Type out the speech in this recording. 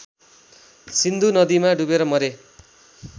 सिन्धु नदीमा डुबेर मरे